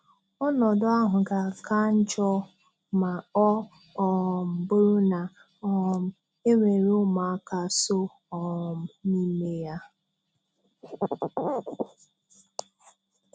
Ọnọdụ ahụ ga-aka njọ ma ọ um bụrụ na um e nwere ụmụaka so um n'ime ya.